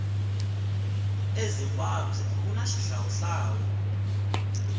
ezimbabwe kuna xihlawuhlawu